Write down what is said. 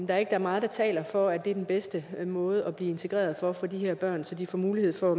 der er meget der taler for at det er den bedste måde at blive integreret på for de her børn så de får mulighed for